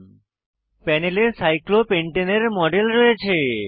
প্যানেলে cyclopentane cyclopentane এর model রয়েছে